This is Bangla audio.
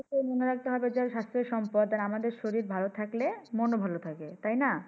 মনে রাখতে হবে স্বাস্থ্যই সম্পদ। আর আমাদের শরীর ভাল থাকলে মনোবল ও থাকে। তাইনা?